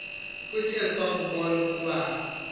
kuthe kwakubon ukuba